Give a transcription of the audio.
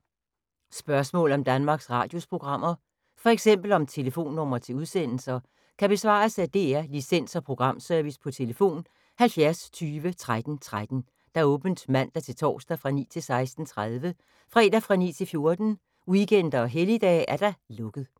Spørgsmål om Danmarks Radios programmer, f.eks. om telefonnumre til udsendelser, kan besvares af DR Licens- og Programservice: tlf. 70 20 13 13, åbent mandag-torsdag 9.00-16.30, fredag 9.00-14.00, weekender og helligdage: lukket.